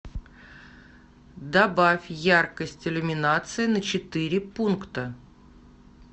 добавь яркость иллюминации на четыре пункта